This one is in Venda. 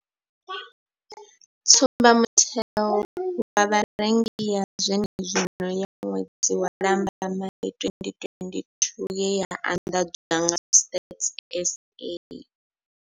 Tsumbamutengo wa Vharengi ya zwenezwino ya ṅwedzi wa Lambamai 2022 ye ya anḓadzwa nga Stats SA.